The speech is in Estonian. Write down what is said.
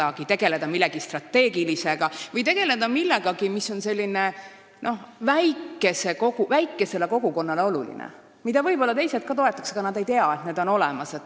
Nad võivad tegeleda millegi strateegilisega või ka millegi sellisega, mis on väikesele kogukonnale oluline ja mida toetaks võib-olla ka teised, kes aga ei tea, et see on olemas.